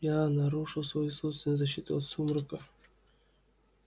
я нарушил свою собственную защиту от сумрака